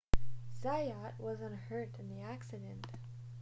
zayat was unhurt in the accident